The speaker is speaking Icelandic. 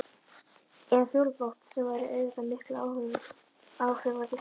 Eða fjólublátt sem væri auðvitað miklu áhrifaríkara.